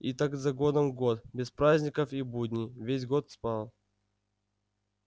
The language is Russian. и так за годом год без праздников и будней весь год спал